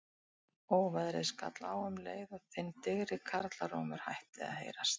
Óveðrið skall á um leið og þinn digri karlarómur hætti að heyrast.